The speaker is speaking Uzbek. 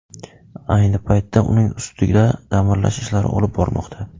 Ayni paytda uning ustida ta’mirlash ishlari olib borilmoqda.